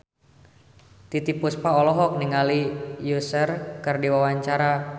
Titiek Puspa olohok ningali Usher keur diwawancara